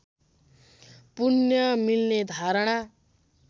पुण्य मिल्ने धारणा